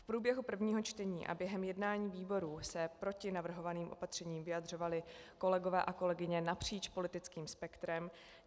V průběhu prvního čtení a během jednání výborů se proti navrhovaným opatřením vyjadřovali kolegové a kolegyně napříč politickým spektrem.